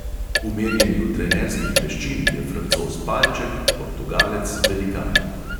V merjenju trenerskih veščin je francoz palček, portugalec velikan.